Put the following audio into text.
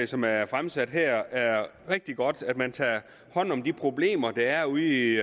som er fremsat her er rigtig godt altså at man tager hånd om de problemer der er ude i